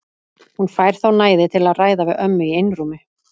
Hún fær þá næði til að ræða við ömmu í einrúmi.